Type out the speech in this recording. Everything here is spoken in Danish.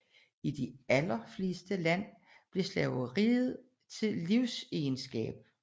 I de allerfleste lande blev slaveriet til livegenskab